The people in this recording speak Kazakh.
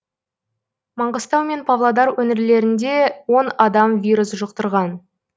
маңғыстау мен павлодар өңірлерінде он адам вирус жұқтырған